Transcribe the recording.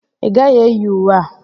Ị gaghị eyi uwe a!